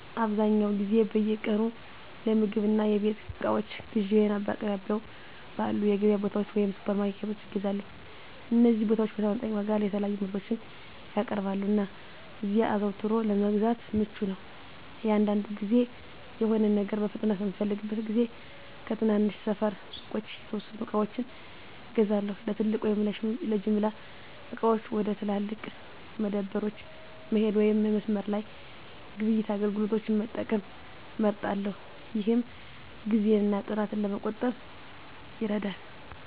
አብዛኛውን ጊዜ በየቀኑ ለምግብ እና የቤት እቃዎች ግዢዬን በአቅራቢያው ባሉ የገበያ ቦታዎች ወይም ሱፐርማርኬቶች እገዛለሁ። እነዚህ ቦታዎች በተመጣጣኝ ዋጋ የተለያዩ ምርቶችን ያቀርባሉ, እና እዚያ አዘውትሮ ለመግዛት ምቹ ነው. አንዳንድ ጊዜ፣ የሆነ ነገር በፍጥነት በምፈልግበት ጊዜ ከትናንሽ ሰፈር ሱቆች የተወሰኑ ዕቃዎችን እገዛለሁ። ለትልቅ ወይም ለጅምላ ዕቃዎች፣ ወደ ትላልቅ መደብሮች መሄድ ወይም የመስመር ላይ ግብይት አገልግሎቶችን መጠቀም እመርጣለሁ፣ ይህም ጊዜን እና ጥረትን ለመቆጠብ ይረዳል።